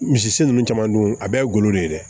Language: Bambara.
Misi ninnu caman dun a bɛɛ ye golo de ye dɛ